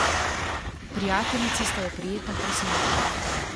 Prijateljici sta jo prijetno presenetili.